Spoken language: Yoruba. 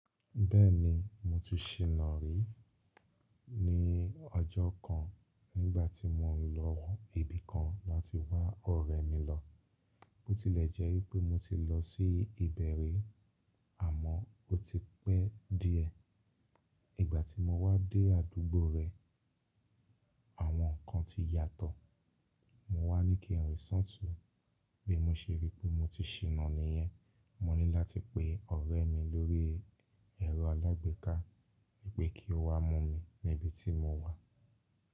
Bẹ́ẹ̀ni mo ti ṣi na rí, ní ọjọ́ kan nígbà tí mo lọ ibi kan láti wá ọ̀rẹ́ mi lọ. Ó tilẹ̀ jẹ́ wípé mo ti lọ sí ìbẹ̀ rí àmọ́ ó ti pẹ́ díẹ̀. Ìgbà tí mo wá dé àdúgbò rẹ̀, àwọn ǹkan ti yàtọ̀. Mo wá ní kí n rín ṣi ọtun bí mo ṣe rí pé mo ti ṣinà níyẹn. Mo ní láti pe ọ̀rẹ́ mi lórí ẹ̀rọ alágbèéká wípé kí ó wá mọ́ mi ní ibi tí mo wà.